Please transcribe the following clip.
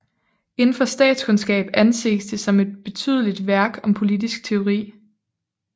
Indenfor statskundskab anses det som et betydelig værk om politisk teori